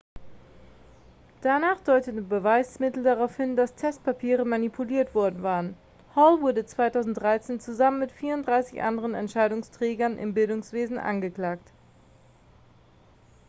danach deuteten beweismittel darauf hin dass testpapiere manipuliert worden waren hall wurde 2013 zusammen mit 34 anderen entscheidungsträgern im bildungswesen angeklagt